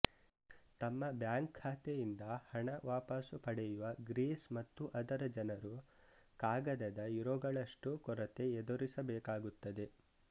ತಮ್ಮ ಬ್ಯಾಂಕ್ ಖಾತೆಯಿಂದ ಹಣ ವಾಪಸ್ ಪಡೆಯುವ ಗ್ರೀಸ್ ಮತ್ತು ಅದರ ಜನರು ಕಾಗದದ ಯುರೋಗಳಷ್ಟು ಕೊರತೆ ಎದುರಿಸಬೇಕಾಗುತ್ತದೆ